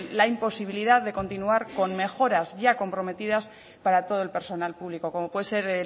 la imposibilidad de continuar con mejoras ya comprometidas para todo el personal público como puede ser